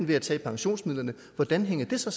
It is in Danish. ved at tage i pensionsmidlerne hvordan hænger det så